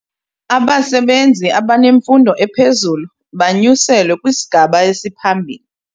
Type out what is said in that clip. Abasebenzi abanemfundo ephezulu banyuselwe kwisigaba esiphambili.